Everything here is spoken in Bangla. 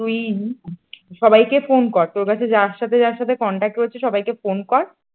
তুই সবাইকে ফোন কর তোর কাছে সাথে যার সাথে যার সাথে contact রয়েছে সবাইকে ফোন কর ।